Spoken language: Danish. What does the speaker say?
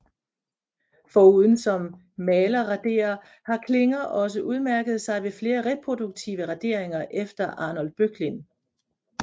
Foruden som malerraderer har Klinger også udmærket sig ved flere reproduktive raderinger efter Arnold Böcklin